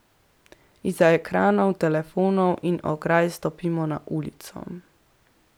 Izza ekranov, telefonov in ograj stopimo na ulico.